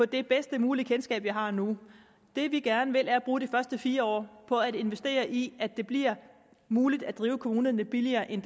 det bedst mulige kendskab som vi har nu det vi gerne vil er at bruge de første fire år på at investere i at det bliver muligt at drive kommunerne billigere end